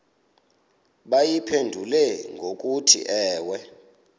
bayiphendule ngokuthi ewe